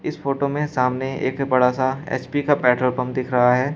इस फोटो में सामने एक बड़ा सा एच_पी का पेट्रोल पंप दिख रहा है।